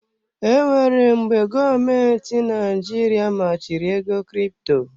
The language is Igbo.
E nwere mgbe gọọmenti Naijiria machiri ego crypto.